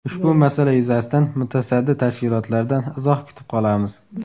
Ushbu masala yuzasidan mutasaddi tashkilotlardan izoh kutib qolamiz.